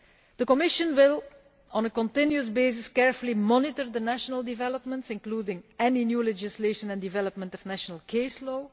The Commission will on a continuous basis carefully monitor the national developments, including any new legislation and the development of national case law.